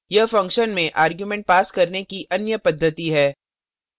यह function में arguments pass करने की अन्य पद्धति है